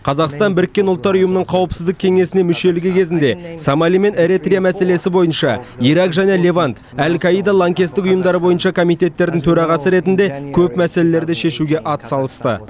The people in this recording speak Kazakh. қазақстан біріккен ұлттар ұйымының қауіпсіздік кеңесіне мүшелігі кезінде сомали мен эретрия мәселесі бойынша ирак және левант әл каида лаңкестік ұйымдары бойынша комитеттердің төрағасы ретінде көп мәселені шешуге атсалысты